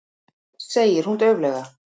segir hún dauflega.